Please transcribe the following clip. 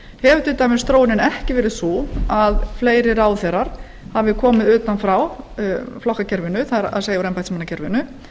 til dæmis þróunin ekki verið sú að fleiri ráðherrar hafi komið utan frá flokkakerfinu það er úr embættismannakerfinu